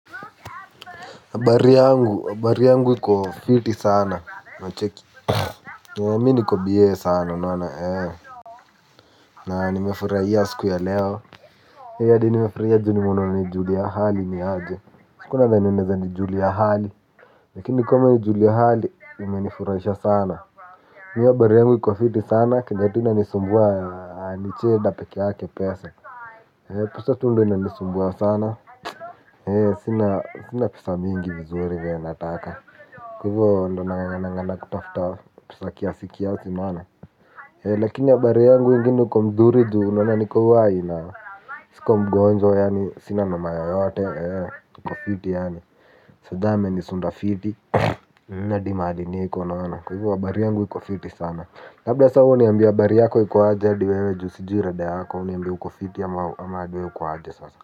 Habari yangu habari yangu iko fiti sana unacheki. Mimi niko bie sana unaona ee. Na nimefurahia siku ya leo eeh hadi nimefurahia ju nimeona umenijulia hali niaje sikuwa nadhani unaezanijulia hali. Lakini kama umenijulia hali umenifurahisha sana mimi habari yangu iko fiti sana kenye tu inanisumbua ni cheda pekeyake pesa. Pesa tu ndo inanisumbua sana. Sina pesa mingi vizuri venye nataka kwa hivyo ndo nangangana ngangana kutafuta pesa kiasi kiasi unaona eeh lakini habari yangu ingine iko mzuri ju unaona niko uhai na siko mgonjwa yaani sina noma yoyote niko fiti yaani sir jah amenisunda fiti hadi mahali niko unaona. Kwa hivyo habari yangu iko fiti sana labda wewe sas uniambie habari yako iko aje hadi wewe juu sijui rada yako. Uniambie uko fiti ama wewe uko aje sasa.